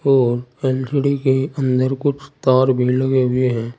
और एल_सी_डी के अंदर कुछ तार भी लगे हुए हैं।